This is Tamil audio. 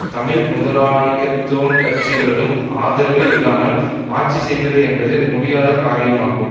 தமிழ் முதலாளித்துவ கட்சிகளதும் ஆதரவு இல்லாமல் ஆட்சி செய்வது என்பது முடியாத காரியமாகும்